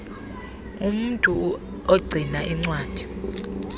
umntu ogcina iincwadi